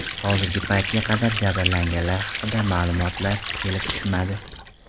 Hozirgi paytga qadar jabrlanganlar haqida ma’lumotlar kelib tushmadi.